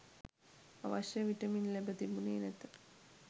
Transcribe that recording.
අවශ්‍ය විටමින් ලැබ තිබුණේ නැත.